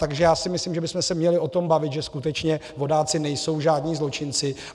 Takže já si myslím, že bychom se měli o tom bavit, že skutečně vodáci nejsou žádní zločinci.